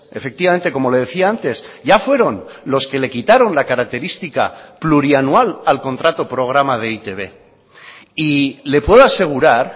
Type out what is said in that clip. efectivamente como le decía antes ya fueron los que le quitaron la característica plurianual al contrato programa de e i te be y le puedo asegurar